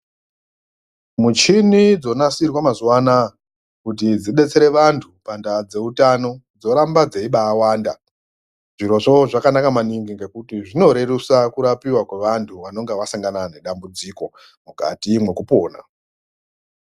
Muchini dzonasirwa mazuva anaya kuti dzidetsere vantu pandaa dzeutano dzoramba dzeibawanda zvirozvo zvakanaka maningi ngekuti zvinorerusa kurapiwa kwevantu vanenge vasangana nedambudziko mukati mwekupona.